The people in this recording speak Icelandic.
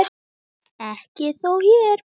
Ekki þó hér.